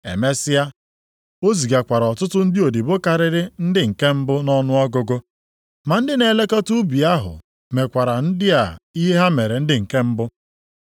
Emesịa, o zigakwara ọtụtụ ndị odibo karịrị ndị nke mbụ nʼọnụọgụgụ. Ma ndị na-elekọta ubi ahụ mekwara ndị a ihe ha mere ndị nke mbụ.